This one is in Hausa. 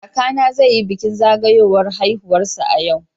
Kakana zai yi bikin zagayowar ranar haihuwarsa a yau.